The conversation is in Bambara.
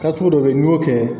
Kɛcogo dɔ bɛ ye n'i y'o kɛ